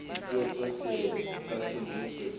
dipuo tsohle tsa semmuso di